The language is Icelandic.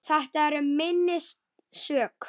Þetta er minnst sök.